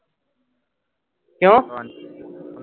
ਕਿਉਂ